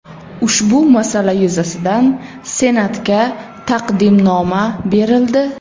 Ushbu masala yuzasidan Senatga taqdimnoma berildi.